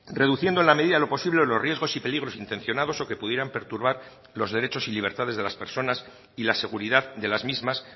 reduciendo en la medida de lo posible los riesgos y peligros intencionados o que pudieran perturbar los derechos y libertades de las personas y la seguridad de las mismas